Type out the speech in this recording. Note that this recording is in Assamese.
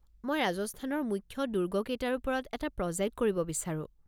মই ৰাজস্থানৰ মুখ্য দুৰ্গ কেইটাৰ ওপৰত এটা প্ৰজেক্ট কৰিব বিচাৰোঁ।